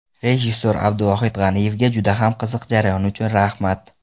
Rejissor Abduvohid G‘aniyevga juda ham qiziq jarayon uchun rahmat.